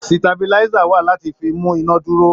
Sítabiláísà wà láti fi mú iná dúró.